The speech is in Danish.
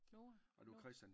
Og det var Christian